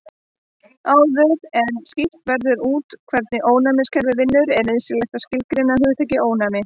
Áður en skýrt verður út hvernig ónæmiskerfið vinnur er nauðsynlegt að skilgreina hugtakið ónæmi.